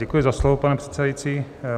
Děkuji za slovo, pane předsedající.